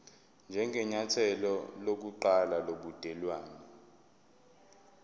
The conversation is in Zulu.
njengenyathelo lokuqala lobudelwane